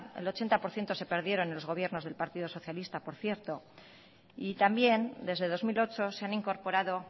el ochenta por ciento se perdieron en los gobiernos del partido socialista por cierto y también desde dos mil ocho se han incorporado